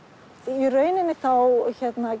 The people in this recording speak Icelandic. í rauninni þá